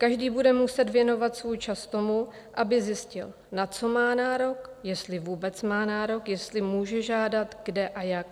Každý bude muset věnovat svůj čas tomu, aby zjistil, na co má nárok, jestli vůbec má nárok, jestli může žádat, kde a jak.